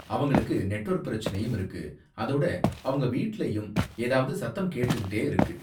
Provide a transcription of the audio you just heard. அவங்களுக்கு நெட்வொர்க் பிரச்சனையும் இருக்கு, அதோட அவங்க வீட்லயும் ஏதாவது சத்தம் கேட்டுக்கிட்டே இருக்கு.